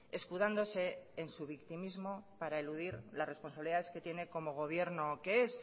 escudándose en su victimismo para eludir las responsabilidades que tiene como gobierno que es